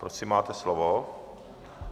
Prosím, máte slovo.